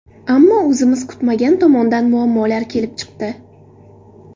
Ammo o‘zimiz kutmagan tomondan muammolar kelib chiqdi.